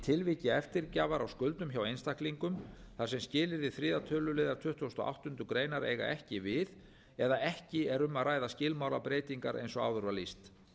tilviki eftirgjafar á skuldum hjá einstaklingum þar sem skilyrði þriðja tölulið tuttugasta og áttundu greinar eiga ekki við eða ekki er um að ræða skilmálabreytingar eins og áður var lýst